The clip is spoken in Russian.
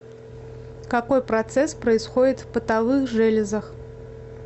какой процесс происходит в потовых железах